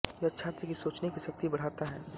यह छात्र की सोचने कि शक्ति बढाता है